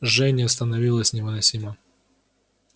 жжение становилось невыносимо